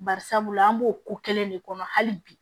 Bari sabula an b'o ko kelen de kɔnɔ hali bi